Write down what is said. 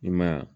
I ma ye wa